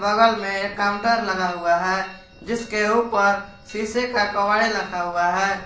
बगल में एक काउंटर लगा हुआ है जिसके ऊपर शीशे का कावड़ी रखा हुआ है।